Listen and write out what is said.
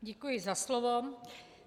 Děkuji za slovo.